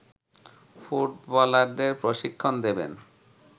ফুটবলারদের প্রশিক্ষণ দেবেন